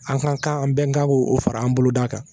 An ka kan an bɛɛ kan k'o fara an boloda kan